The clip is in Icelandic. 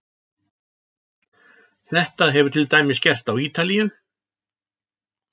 Þetta hefur til dæmis gerst á Ítalíu.